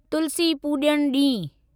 तुलसी पूॼन ॾींहुं